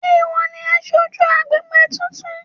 Sé ìwọ ni aṣojú agbègbè tuntun?